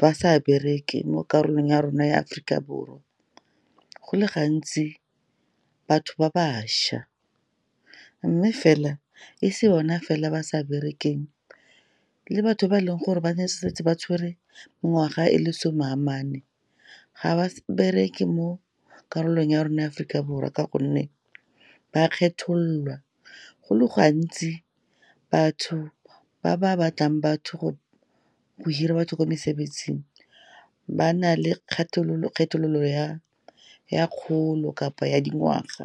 ba sa bereke mo karolong ya rona ya Aforika Borwa, go le gantsi, batho ba bašwa. Mme fela, e se bona fela ba sa berekelang, le batho ba e leng gore ba ne setse ba tshwere mengwaga e le some a mane, ga ba bereke mo karolong ya rona ya Aforika Borwa, ka gonne ba kgethololwa. Go le gantsi, batho ba ba batlang batho go hira batho kwa mesebetsing ba na le kgethololo ya kgolo kapa ya dingwaga.